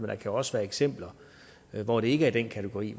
der jo også være eksempler hvor det ikke er i den kategori